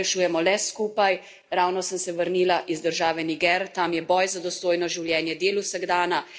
Tam je boj za dostojno življenje del vsakdana, saj bogate zahodne države zlorabljajo naravne vire in ljudi.